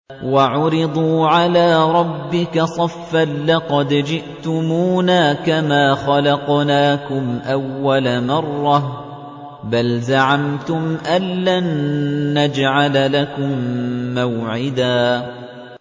وَعُرِضُوا عَلَىٰ رَبِّكَ صَفًّا لَّقَدْ جِئْتُمُونَا كَمَا خَلَقْنَاكُمْ أَوَّلَ مَرَّةٍ ۚ بَلْ زَعَمْتُمْ أَلَّن نَّجْعَلَ لَكُم مَّوْعِدًا